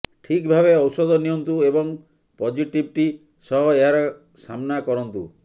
ଠିକଭାବେ ଔଷଧ ନିଅନ୍ତୁ ଏବଂ ପଜିଟିଭିଟି ସହ ଏହାର ସାମନା କରନ୍ତୁ